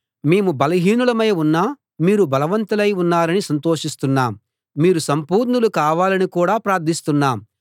మేము బలహీనులమై ఉన్నా మీరు బలవంతులై ఉన్నారని సంతోషిస్తున్నాము మీరు సంపూర్ణులు కావాలని కూడా ప్రార్థిస్తున్నాం